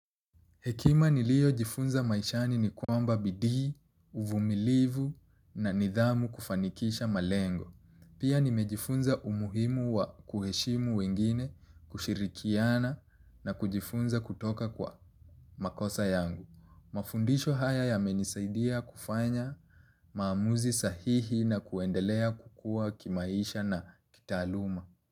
Hekima niliyo jifunza maishani ni kwamba bidii, uvumilivu na nidhamu kufanikisha malengo. Pia nimejifunza umuhimu wa kuheshimu wengine, kushirikiana na kujifunza kutoka kwa makosa yangu. Mafundisho haya yamenisaidia kufanya maamuzi sahihi na kuendelea kukua kimaisha na kitaaluma.